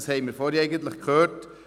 Das haben wir vorhin gehört.